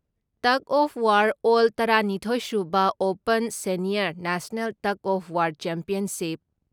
tug of war ꯑꯦꯜ ꯇꯔꯥ ꯅꯤꯊꯣꯏ ꯁꯨꯕ open senior national tug of war championship